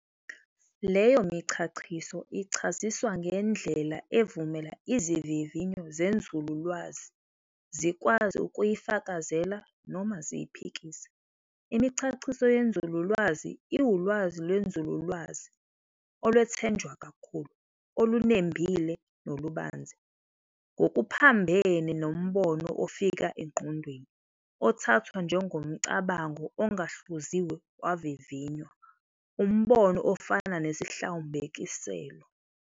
Leyo michachiso ichaziswa ngendlela evumela izivivinyo zenzululwazi zikwazi ukuyifakazela noma ziyiphikise. Imichachiso yenzululwazi iwulwazi lwenzululwazi olwethenjwa kakhulu, olunembile nolubanzi, ngokuphambene nombono ofika engqondweni, othathwa njengomcabango ongahluziwe wavivinywa, umbono ofana "nesihlawumbiselo".